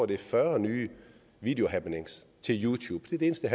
det er fyrre nye videohappenings til youtube det er det eneste